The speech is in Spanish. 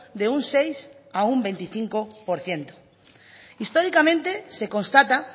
de un seis a un veinticinco por ciento históricamente se constata